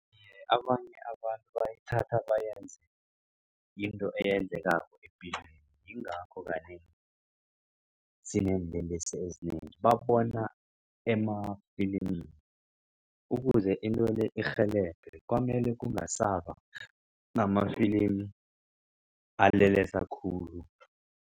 Abanye abantu bayithatha bayenze into eyenzekako epilweni. Yingakho kanengi sineenlelesi ezinengi babona emafilimini ukuze into le irhelebhe kwamele kungasaba namafilimi alelesa khulu.